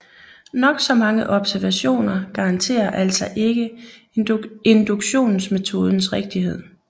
Nok så mange observationer garanterer altså ikke induktionsmetodens rigtighed